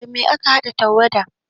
Da me ake haɗa tawada?